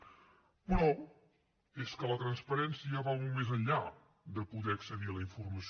però és que la transparència va molt més enllà de poder accedir a la informació